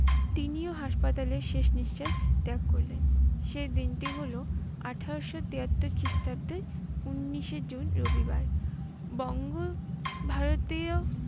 তিনিও হাসপাতালে শেষ নিঃশ্বাস ত্যাগ করলেন। সে দিনটি হলো আঠারোশ তিয়াত্তর খ্রিষ্টাব্দের উনিশে জুন রবিবার। বঙ্গ-ভারতীয়